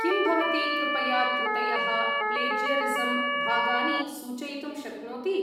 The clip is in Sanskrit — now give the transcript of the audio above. किं भवती कृपया त्रुटयः, प्लेज्यरिसम् भागानि सूचयितुं शक्नोति?